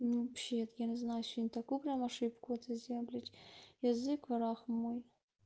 ну вообще-то я не знаю сегодня такую прям ошибку это сделала блядь язык враг мой